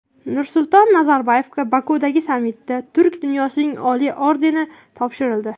Nursulton Nazarboyevga Bokudagi sammitda Turk dunyosining oliy ordeni topshirildi.